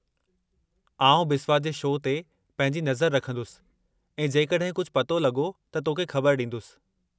आउं बिस्वा जे शो ते पंहिंजी नज़र रखंदुसि ऐं जेकॾहिं कुझु पतो लॻो त तोखे ख़बर ॾींदुसि।